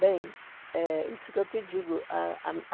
Bem, é isso que eu te digo. A a